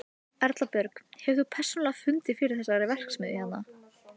Erla Björg: Hefur þú persónulega fundið fyrir þessari verksmiðju hérna?